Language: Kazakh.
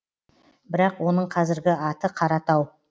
бірақ оның қазіргі аты қаратау